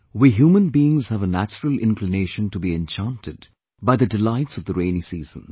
We human beings have a natural inclination to be enchanted by the delights of the rainy season